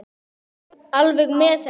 Við vorum alveg með þetta.